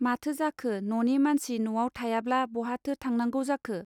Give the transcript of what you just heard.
माथो जाखो ननि मानसि नआव थायाब्ला बहाथो थांनांगौ जाखो.